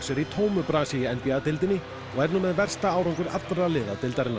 er í tómu brasi í n b a deildinni og er nú með versta árangur allra liða deildarinnar